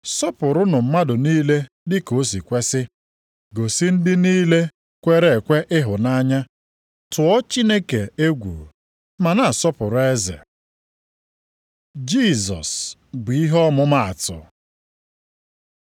Sọpụrụnụ mmadụ niile dịka o si kwesi. Gosi ndị niile kwere ekwe ịhụnanya. Tụọ Chineke egwu, ma na-asọpụrụ eze. Jisọs bụ ihe ọmụmatụ